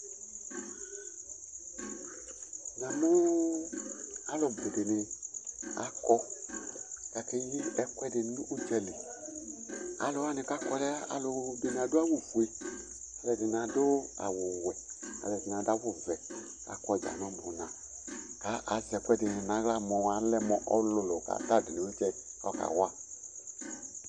Namʋ alʋ bʋ dɩnɩ akɔ kʋ akeyi ɛkʋɛdɩ nʋ ʋdza li Alʋ wanɩ kʋ akɔ nʋ ɛv alʋ dɩnɩ awʋfue, alʋɛdɩnɩ adʋ awʋwɛ, alʋɛdɩnɩ adʋ awʋvɛ kʋ akɔ dza nʋ ʋbʋna kʋ azɛ ɛkʋɛdɩnɩ nʋ aɣla mʋ alɛ mʋ ɔlʋlʋ kʋ ata dʋ nʋ ɩvlɩtsɛ kʋ ayɔ kawa